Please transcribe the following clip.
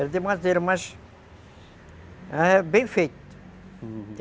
Era de madeira, mas... É bem feito.